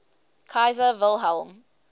kaiser wilhelm